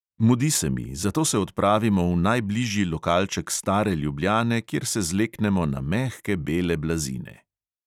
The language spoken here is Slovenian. Mudi se mi, zato se odpravimo v najbližji lokalček stare ljubljane, kjer se zleknemo na mehke bele blazine.